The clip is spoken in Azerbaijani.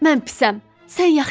Mən pisəm.